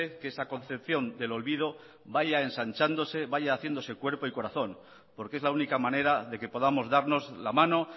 que esa concepción del olvido vaya ensanchándose vaya haciéndose cuerpo y corazón porque es la única manera de que podamos darnos la mano